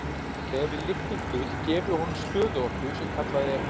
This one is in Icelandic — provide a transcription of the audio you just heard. Þegar við lyftum hlut gefum við honum stöðuorku sem kallað er.